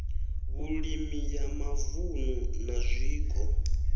vhulimi ya mavunu na zwiko